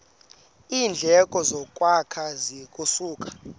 iindleko zokwakha zingasuka